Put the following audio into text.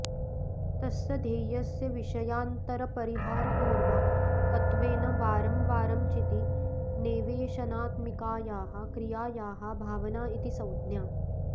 तस्य ध्येयस्य विषयान्तरपरिहारपूर्वाकत्वेन वारंवारं चिति नेवेशनात्मिकायाः क्रियायाः भावना इति संज्ञा